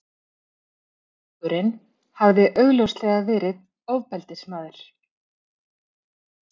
Þjófurinn hafði augljóslega verið ofbeldismaður.